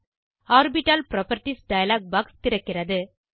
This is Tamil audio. ஆர்பிட்டல் புராப்பர்ட்டீஸ் டயலாக் பாக்ஸ் திறக்கிறது